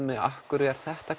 mig af hverju er þetta